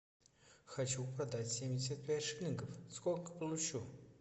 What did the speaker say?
хочу продать семьдесят пять шиллингов сколько получу